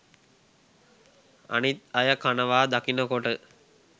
අනිත් අය කනවා දකිනකොට